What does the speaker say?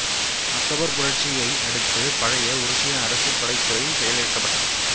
October புரட்சியை அடுத்து பழைய உருசிய அரச படைத்துறை செயலிழக்கப்பட்டது